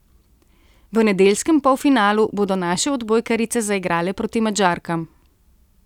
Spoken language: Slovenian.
V nedeljskem polfinalu bodo naše odbojkarice zaigrale proti Madžarkam.